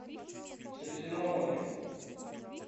средиземноморье